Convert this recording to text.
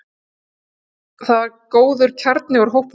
Þar var góður kjarni úr hópnum.